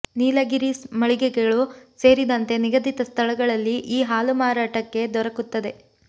ನೀಲಗಿರೀಸ್ ಮಳಿಗೆಗಳು ಸೇರಿದಂತೆ ನಿಗದಿತ ಸ್ಥಳಗಳಲ್ಲಿ ಈ ಹಾಲು ಮಾರಾಟಕ್ಕೆ ದೊರಕುತ್ತದೆ